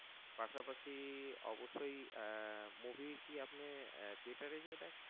পাসাপাশি অবশ্যই আহ Movie কি আপনি Theatre এ গিয়ে দেখেন